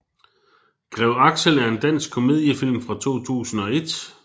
Grev Axel er en dansk komediefilm fra 2001